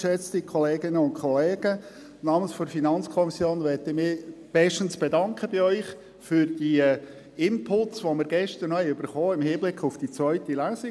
Ich bedanke mich im Namen der FiKo für Ihre gestrigen Inputs im Hinblick auf die zweite Lesung.